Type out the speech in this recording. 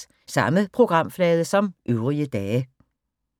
Samme programflade som øvrige dage